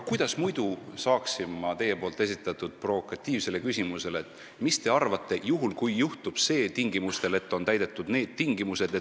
Kuidas muidu saaksin ma teie esitatud provokatiivsele küsimusele stiilis "Mis te arvate, juhul kui juhtub see, tingimustel, et on täidetud need tingimused?